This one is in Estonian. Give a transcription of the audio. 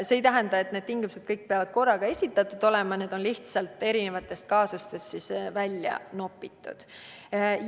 Kõik need tingimused ei pea korraga esinema, need on lihtsalt erinevatest kaasustest välja nopitud näited.